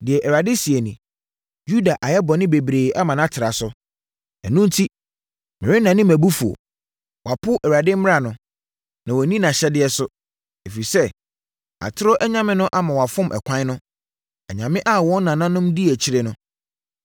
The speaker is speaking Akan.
Deɛ Awurade seɛ nie: “Yuda ayɛ bɔne bebree ama no atra so, ɛno enti, merennane mʼabufuo. Wɔapo Awurade mmara no na wɔanni nʼahyɛdeɛ so ɛfiri sɛ atorɔ anyame no ama wɔafom ɛkwan no, anyame a wɔn nananom dii akyire no.